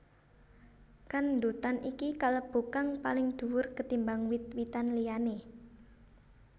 Kandutan iki kalebu kang paling duwur ketimbang wit witan liyané